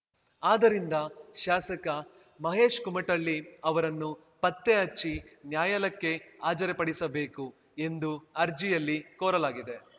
ಆದ್ದರಿಂದ ಶಾಸಕ ಮಹೇಶ್ ಕುಮಟಳ್ಳಿ ಅವರನ್ನು ಪತ್ತೆಹಚ್ಚಿ ನ್ಯಾಯಾಲಯಕ್ಕೆ ಹಾಜರುಪಡಿಸಬೇಕು ಎಂದು ಅರ್ಜಿಯಲ್ಲಿ ಕೋರಲಾಗಿದೆ